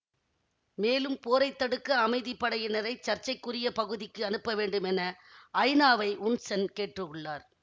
மேலும் போரைத்தடுக்க அமைதிப்படையினரை சர்ச்சைக்குரிய பகுதிக்கு அனுப்ப வேண்டும் என ஐநாவை உன் சென் கேட்டுள்ளார்